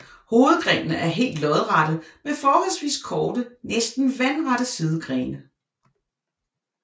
Hovedgrenene er helt lodrette med forholdsvis korte næsten vandrette sidegrene